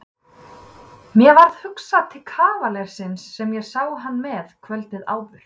Mér varð hugsað til kavalersins sem ég sá hana með kvöldið áður.